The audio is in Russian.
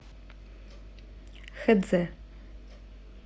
хэцзэ